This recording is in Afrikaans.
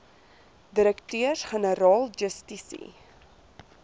direkteurs generaal justisie